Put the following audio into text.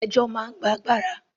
Ẹjọ́ máa ń gba agbára.